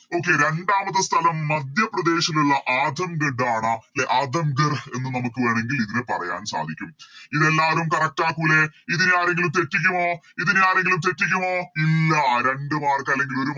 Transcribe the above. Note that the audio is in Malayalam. Okay രണ്ടാമത്തെ സ്ഥലം മധ്യപ്രദേശിലുള്ള ആധംഗഡ്‌ ആണ് അധം ഗർഹ് എന്ന് നമുക്ക് വേണെങ്കിൽ ഇതിനെ പറയാൻ സാധിക്കും ഇതെല്ലാവരും Correct ആക്കൂലേ ഇതെനി ആരെങ്കിലും തെറ്റിക്കുമോ ഇതെനി ആരെങ്കിലും തെറ്റിക്കുമോ ഇല്ല രണ്ട് Mark അല്ലെങ്കില് ഒരു